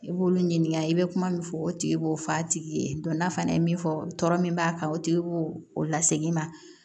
I b'olu ɲininka i bɛ kuma min fɔ o tigi b'o f'a tigi ye n'a fana ye min fɔ tɔɔrɔ min b'a kan o tigi b'o o lasegin ma